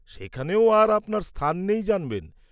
সেখানেও আর আপনার স্থান নেই জানবেন।